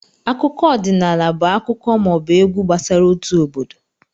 Akụkọ ọdịnaala bụ akụkọ ma ọ bụ egwu gbasara otu obodo